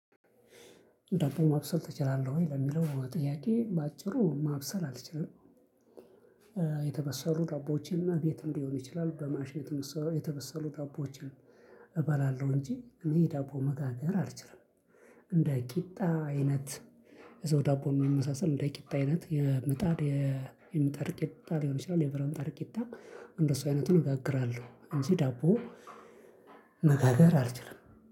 ዳቦ ማብሰል ትችላለህ ወይ? ለሚለው ጥያቄ በአጭሩ ማብሰል አልችልም። የተበሰሉ ዳቦዎችን እና ቤትም ሊሆን ይችላል በማሽን እንትን የተበሰሉ ዳቦዎችን እበላለሁ እንጂ እኔ ዳቦ መጋገር አልችልም። እንደ ቂጣ አይነት እዛው ዳቦ ሚመሳሰል እንደ ቂጣ አይነት የምጣድ የምጣድ ቂጣ ሊሆን ይችላል የብርት ምጣድ ቂጣ እንደሱ አይነቱን እጋግራለው እንጂ ዳቦ። መጋገር አልችልም